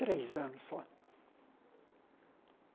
Três anos só.